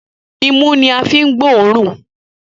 Imú ní a fí ń gbọ́ òórùn.